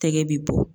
Tɛgɛ bɛ bɔ